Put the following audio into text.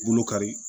Bolo kari